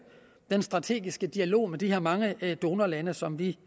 den strategiske dialog med de her mange donorlande som vi